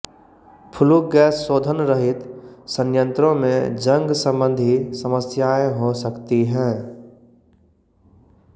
flu gas शोधन रहित संयंत्रों में जंग संबंधी समस्याएं हो सकती हैं